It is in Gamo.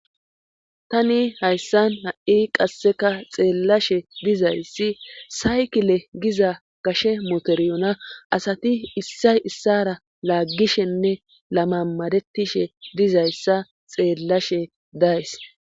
tani hayssan ha'i qasseka xeellashe dizayssi saykile giza gashe motorioona asati issay issara laaggishenne lamamadetishe dizayssa xeellashe days